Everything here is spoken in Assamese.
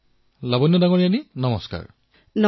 প্ৰধানমন্ত্ৰীঃ লাৱণ্য মহোদয়া নমস্কাৰ